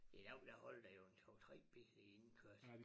I dag der holder der jo en 2 3 biler i indkørslen